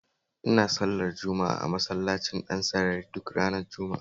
Ina sallar juma'a a Masallacin Dansarari duk ranar Juma'a